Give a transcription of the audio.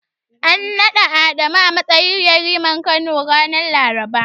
An naɗa Adamu a matsayin Yariman Kano, ranar Laraba.